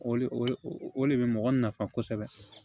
O le o o le bɛ mɔgɔ nafa kosɛbɛ